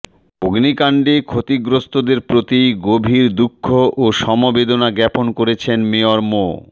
অগ্নিকাণ্ডে ক্ষতিগ্রস্তদের প্রতি গভীর দুঃখ ও সমবেদনা জ্ঞাপন করেছেন মেয়র মো